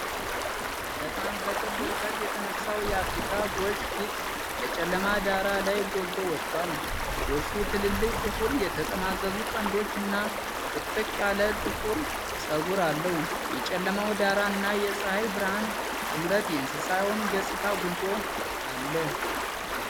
በጣም በቅርብ ርቀት የተነሳው የአፍሪካ ጎሽ ፊት በጨለማ ዳራ ላይ ጎልቶ ወጥቷል። ጎሹ ትልልቅ፣ ጥቁር፣ የተጠማዘዙ ቀንዶች እና ጥቅጥቅ ያለ ጥቁር ፀጉር አለው። የጨለማው ዳራ እና የፀሐይ ብርሃን ጥምረት የእንስሳውን ገፅታዎች አጉልቶ አለ።